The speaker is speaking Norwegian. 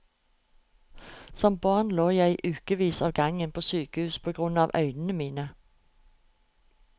Som barn lå jeg i ukevis av gangen på sykehus på grunn av øynene mine.